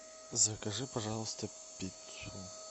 закажи пожалуйста пиццу